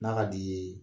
N'a ka d'i ye